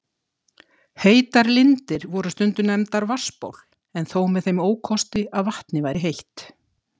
Heitar lindir voru stundum nefndar vatnsból, en þó með þeim ókosti að vatnið væri heitt.